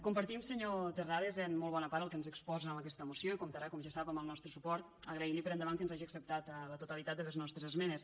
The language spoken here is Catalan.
compartim senyor terrades en molt bona part el que ens exposa en aquesta moció i comptarà com ja sap amb el nostre suport i li agraïm per endavant que ens hagi acceptat la totalitat de les nostres esmenes